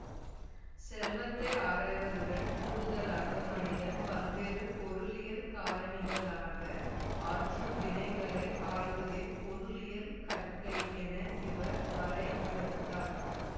செல்வத்தை ஆராய்வதுடன் கூடுதலாக மனிதன் பல்வேறு பொருளியல் காரணிகளாக ஆற்றும் வினைகளை ஆய்வதே பொருளியல் கற்கை என இவர் வரையறுத்தார்